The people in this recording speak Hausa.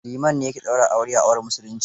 Liman ne ya ke ɗaura aure a auren musulunci.